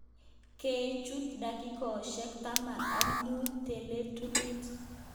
Kochut dakikoshek taman ak mut cheletunen.